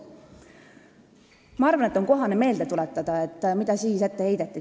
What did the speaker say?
Ma arvan, et on kohane meelde tuletada, mida siis ette heideti.